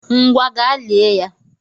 Ngwa! gaa lié ya!